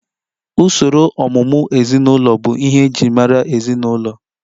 Usoro ọmụmụ ezinụlọ bụ ihe e ji mara ezinụlọ